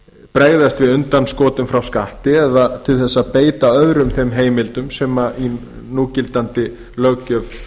bregðast við undanskotum frá skatti eða til að beita öðrum þeim heimildum sem í núgildandi löggjöf